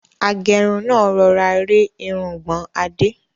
Agẹ́run náà rọra rẹ́ irungbọ̀n Adé.